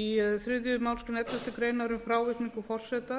í þriðju málsgrein elleftu greinar um frávikningu forseta